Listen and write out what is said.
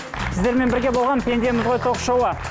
сіздермен бірге болған пендеміз ғой ток шоуы